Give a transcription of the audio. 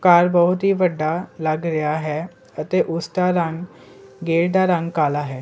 ਘਰ ਬਹੁਤ ਹੀ ਵੱਡਾ ਲੱਗ ਰਿਹਾ ਹੈ ਅਤੇ ਉਸਦਾ ਰੰਗ ਗੇਟ ਦਾ ਰੰਗ ਕਾਲਾ ਹੈ।